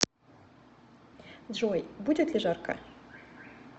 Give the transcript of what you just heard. джой будет ли жарко